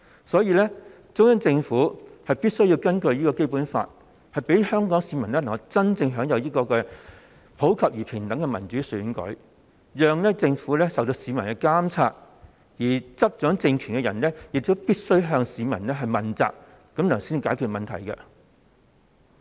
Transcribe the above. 所以，中央政府必須根據《基本法》，令香港市民能夠真正享有普及而平等的民主選舉，讓政府受到市民的監察，而執掌政權的人亦必須向市民問責，才能夠解決問題。